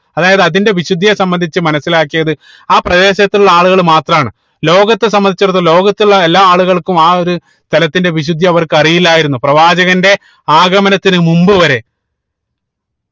അതായത് അതിന്റെ വിശുദ്ധിയെ സംബന്ധിച്ച് മനസിലാക്കിയത് ആ പ്രദേശത്തുള്ള ആളുകൾ മാത്രമാണ് ലോകത്തെ സംബന്ധിച്ചെടുത്ത് ലോകത്തുള്ള എല്ലാ ആളുകൾക്കും ആഹ് ഒരു സ്ഥലത്തിന്റെ വിശുദ്ധി അവർക്ക് അറിയില്ലായിരുന്നു പ്രവാചകന്റെ ആഗമനത്തിന് മുമ്പ് വരെ